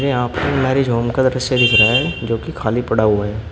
यहां पे marriage home का दृश्य दिख रहा है जो कि खाली पड़ा हुआ है।